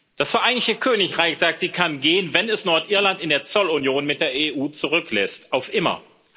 Das Vereinigte Königreich, sagt sie, kann gehen, wenn es Nordirland in der Zollunion mit der EU zurücklässt auf immer.